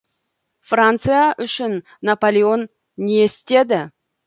франция үшін наполеон не істеді